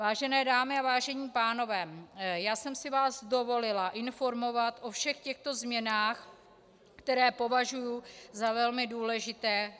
Vážené dámy a vážení pánové, já jsem si vás dovolila informovat o všech těchto změnách, které považuji za velmi důležité.